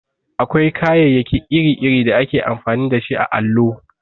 Akwai kayayyaki iri-iri da ake amfani dashi a allo.